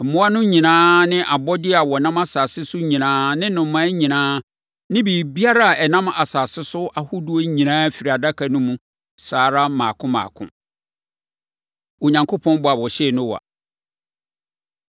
Mmoa no nyinaa ne abɔdeɛ a wɔnam asase so nyinaa ne nnomaa nyinaa ne biribiara a ɛnam asase so ahodoɔ nyinaa firii Adaka no mu saa ara mmaako mmaako. Onyankopɔn Bɔ A Ɔhyɛɛ Noa